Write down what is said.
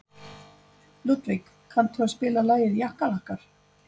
Ludvig, kanntu að spila lagið „Jakkalakkar“?